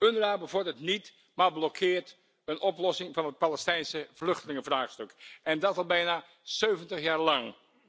UNRWA bevordert niet, maar blokkeert een oplossing van het Palestijnse vluchtelingenvraagstuk en dat al bijna 70 jaar lang.